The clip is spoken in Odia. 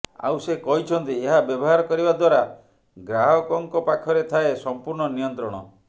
ଆଉ ସେ କହିଛନ୍ତି ଏହା ବ୍ୟବହାର କରିବା ଦ୍ୱାରା ଗ୍ରାହକଙ୍କ ପାଖରେ ଥାଏ ସମ୍ପୂର୍ଣ୍ଣ ନିୟନ୍ତ୍ରଣ